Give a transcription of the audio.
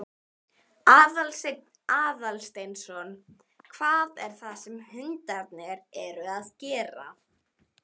Aðalsteinn Aðalsteinsson: Hvað er það sem hundarnir eru að gera?